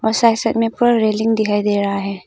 Side side में ऊपर railing दिखाई दे रहा है।